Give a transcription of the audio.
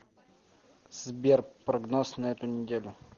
сбер прогноз на эту неделю